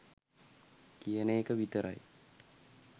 කියන එක විතරයි.